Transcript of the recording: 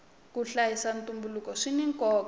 ku hlayisa ntumbuluko swina nkoka